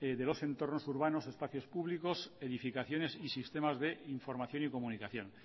de los entornos urbanos espacios públicos edificaciones y sistemas de información y comunicación